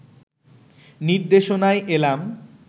নির্দেশনায় এলাম